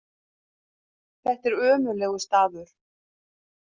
Þetta er ömurlegur staður.